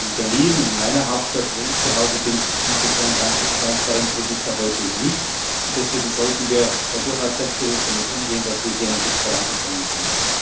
In Berlin, in meiner Hauptstadt, wo ich zuhause bin, gibt es so ein Transparenzregister heute nicht, und deswegen sollten wir durchaus selbstbewusst damit umgehen, dass wir hier einen Schritt vorangekommen sind.